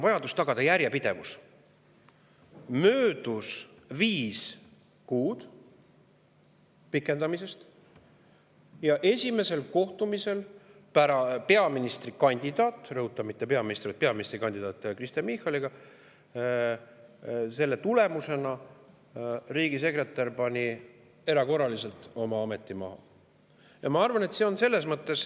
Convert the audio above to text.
Möödus viis kuud pikendamisest ja pärast esimest kohtumist peaministrikandidaadiga – rõhutan, mitte peaministriga, vaid peaministrikandidaat Kristen Michaliga – pani riigisekretär erakorraliselt oma ameti maha.